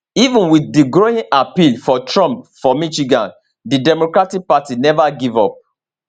even wit di growing appeal for trump for michigan di democratic party neva give up